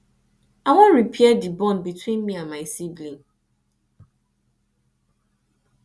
i wan repair di bond between me and my sibling